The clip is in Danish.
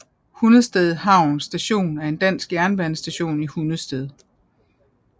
Hundested Havn Station er en dansk jernbanestation i Hundested